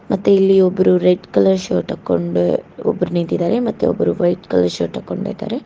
ಮತ್ತೆ ಇಲ್ಲಿ ಒಬ್ರು ರೆಡ್ ಕಲರ್ ಶರ್ಟ್ ಹಾಕೊಂಡ್ ಒಬ್ಬರು ನಿಂತಿದ್ದಾರೆ ಮತ್ತೆ ಒಬ್ರು ವೈಟ್ ಕಲರ್ ಶರ್ಟ್ ಹಾಕ್ಕೊಂಡಿದ್ದಾರೆ.